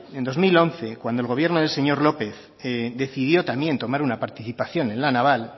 en dos mil once cuando el gobierno del señor lópez decidió también tomar una participación en la naval